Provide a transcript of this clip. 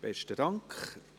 Besten Dank.